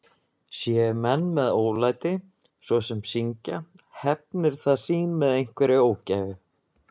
Séu menn með ólæti, svo sem að syngja, hefnir það sín með einhverri ógæfu.